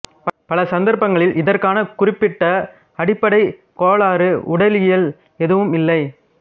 பல சந்தர்ப்பங்களில் இதற்கான குறிப்பிட்ட அடிப்படைக் கோளாறு உடலியல் எதுவும் இல்லை